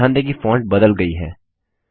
ध्यान दें कि फॉन्ट बदल गई है